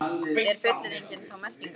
Er fullyrðingin þá merkingarlaus?